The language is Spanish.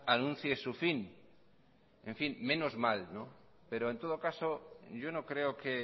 anuncie su fin menos mal pero en todo caso yo no creo que